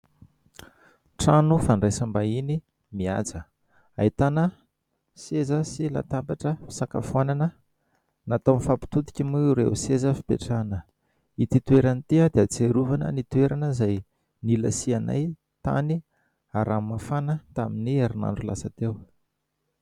Trano fandraisam-bahiny mihaja ; ahitana seza sy latabatra fisakafoanana natao mifampitodika moa ireo seza fipetrahana. Ity toerana ity dia ahatsiarovana ny toerana izay nilasianay tany Ranomafana tamin'ny herinandro lasa teo.